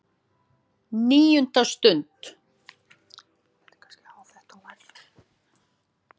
NÍUNDA STUND